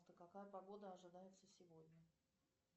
какая погода ожидается сегодня